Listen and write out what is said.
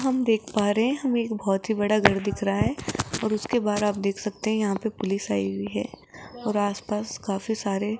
हम देख पा रहे है हमे एक बहोत ही बड़ा घर दिख रहा है और उसके बाहर आप देख सकते है यहां पे पुलिस आई हुई है और आस पास काफी सारे --